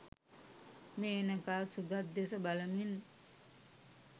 මේනකා සුගත් දෙස බලමින්